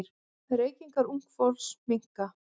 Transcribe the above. Reykingar ungs fólks minnka.